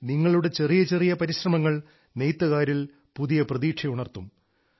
നിങ്ങളുടെ ചെറിയ ചെറിയ പരിശ്രമങ്ങൾ നെയ്ത്തുകാരിൽ പുതിയ പ്രതീക്ഷ ഉണർത്തും